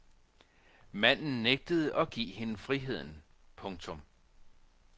Manden nægtede at give hende friheden. punktum